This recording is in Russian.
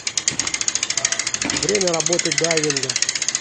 время работы дайвинга